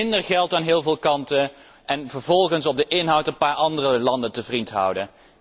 Minder geld aan heel veel kanten en vervolgens op de inhoud een paar andere landen te vriend houden.